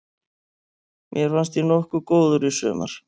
Mér fannst ég nokkuð góður í sumar.